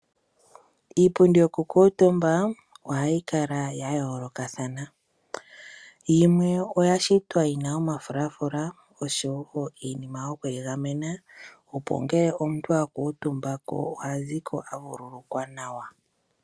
Iipundi yokukuntumba ohayi kala ya yoolokathana yimwe oya shitwa yi na omafulafula oshowo iinima yoku egamena opo ngele omuntu a kuntumbako ohazu ko aavululukwa nawa.